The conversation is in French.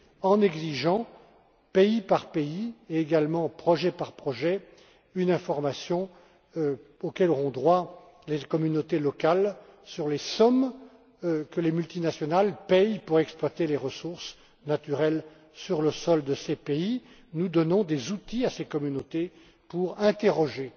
En exigeant, pays par pays, et également projet par projet, une information à laquelle ont droit les communautés locales sur les sommes que les multinationales paient pour exploiter les ressources naturelles sur le territoire de ces pays, nous donnons des outils à ces communautés pour interroger